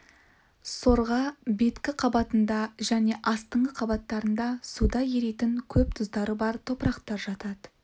сорға беткі қабатында және астыңғы қабаттарында суда еритін көп тұздары бар топырақтар жатады